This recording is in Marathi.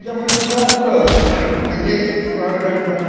सतत, हा. पूर्णपणे तुमच्या आयुष्यापर्यंत